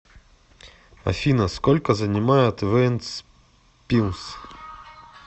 афина сколько занимает вентспилс